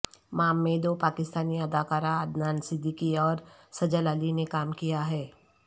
مام میں دو پاکستانی اداکار عدنان صدیقی اور سجل علی نے کام کیا ہے